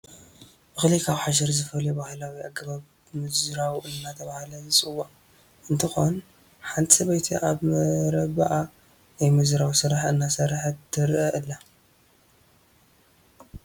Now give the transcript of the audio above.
እኽሊ ካብ ሓሸር ዝፍለዩ ባህላዊ ኣገባብ ምዝራው እናተባህለ ዝፅዋዕ እንትኾን ሓንቲ ሰበይቲ ኣብ መረብኣ ናይ ምዝራው ስራሕ እናሰርሓት ትርአ ኣላ፡፡